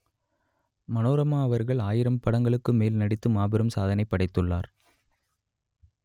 மனோரமா அவர்கள் ஆயிரம் படங்களுக்கும் மேல் நடித்து மாபெரும் சாதனைப் படைத்துள்ளார்